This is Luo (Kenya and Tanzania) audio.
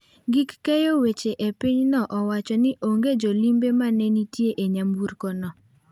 Gik keyo weche e pinyno owacho ni onge jolimbe mane nitie e nyamburkono.